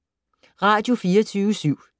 Radio24syv